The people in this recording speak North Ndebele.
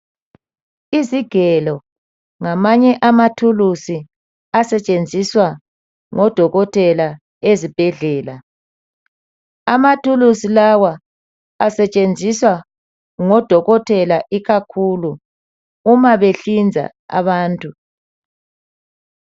Izigelo ngamanye amathuluzi asetshenziswa ngodokotela ezibhedlela. Amathuluzi lawa asetshenziswa ngodokotela ikakhulu uma behlinza abantu.